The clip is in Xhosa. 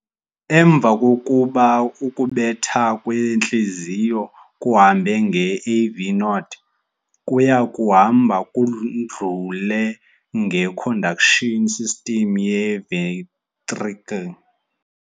Emva kokuba ukubetha kwentliziyo kuhambe nge-AV Node, kuyakuhamba kudlule nge-"conduction system" ye-ventricle.